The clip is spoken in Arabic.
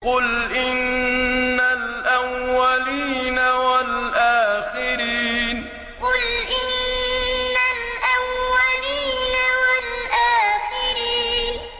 قُلْ إِنَّ الْأَوَّلِينَ وَالْآخِرِينَ قُلْ إِنَّ الْأَوَّلِينَ وَالْآخِرِينَ